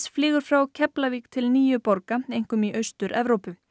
flýgur frá Keflavík til níu borga einkum í Austur Evrópu